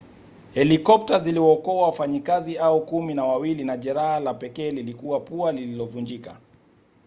helikopta ziliwaokoa wafanyakazi hao kumi na wawili na jeraha la pekee lilikuwa pua lililovunjika